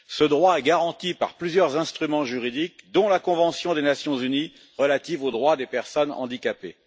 Ce droit est garanti par plusieurs instruments juridiques, dont la convention des Nations unies relative aux droits des personnes handicapées.